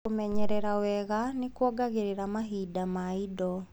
Kũmenyerera wega nĩkuongagĩrĩra mahinda ma indo.